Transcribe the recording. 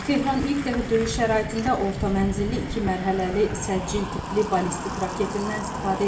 Tehran ilk dəfə döyüş şəraitində orta mənzilli iki mərhələli səcil tipli ballistik raketindən istifadə edib.